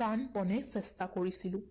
প্ৰাণপণে চেষ্টা কৰিছিলো।